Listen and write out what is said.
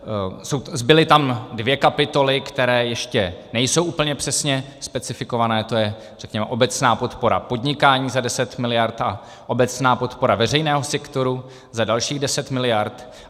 Zbyly tam dvě kapitoly, které ještě nejsou úplně přesně specifikované, to je, řekněme, obecná podpora podnikání za 10 miliard a obecná podpora veřejného sektoru za dalších 10 miliard.